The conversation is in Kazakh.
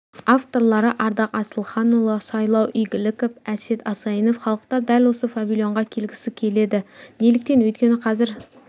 авторлары ардақ асылханұлы сайлау игіліков әсет асайынов халықтар дәл осы павильонға келгісі келеді неліктен өйткені қазір